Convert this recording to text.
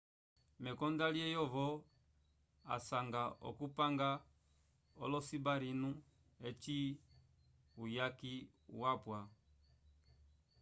mekonda lyeyovo asanga k'okupanga olosubimarinu eci uyaki wapwa